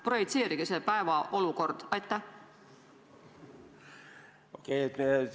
Projitseerige selle päeva olukord!